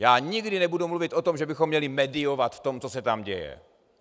Já nikdy nebudu mluvit o tom, že bychom měli mediovat v tom, co se tam děje.